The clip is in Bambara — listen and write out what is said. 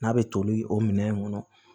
N'a bɛ toli o minɛn in kɔnɔ